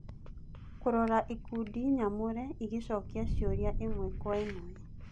Kũrora ikundi nyamũre igĩcokia ciũria ĩmwe kwa ĩmwe